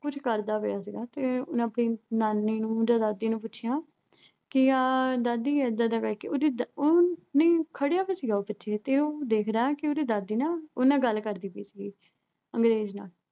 ਕੁਛ ਕਰਦਾ ਪਿਆ ਸੀਗਾ ਤੇ ਆਪਣੀ ਨਾਨੀ ਨੂੰ ਜਾਂ ਦਾਦੀ ਨੂੰ ਪੁੱਛਿਆ ਕਿ ਆਹ ਦਾਦੀ ਐਦਾਂ ਉਹ ਦਾਦੀ ਅਹ ਉਹ ਅਮ ਖੜਿਆ ਵਿਆ ਸੀ, ਉਹ ਪਿੱਛੇ ਤੇ ਉਹ ਦੇਖ ਰਿਹਾ ਕਿ ਉਹਦੀ ਦਾਦੀ ਨਾ ਅਹ ਉਹਦੇ ਨਾਲ ਗੱਲ ਕਰਦੀ ਪਈ ਸੀਗੀ ਅੰਗਰੇਜ਼ ਨਾਲ